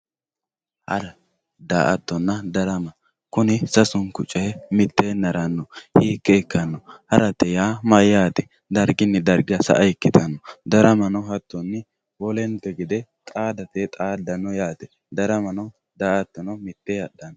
Hara, da'atonna darama, kuni sasu'nku coyi mitteenni harano hiike ikkano harate yaa mayate dariginni dariga sa'a ikkitanno. Daramano hatonni wolente gede xaadateyi xaadano yaate, daramanno daa'atono mitee hadhano